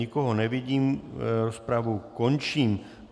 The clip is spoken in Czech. Nikoho nevidím, rozpravu končím.